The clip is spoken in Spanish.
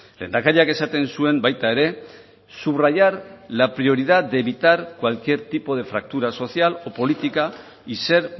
lehendakariak esaten zuen baita ere subrayar la prioridad de evitar cualquier tipo de fractura social o política y ser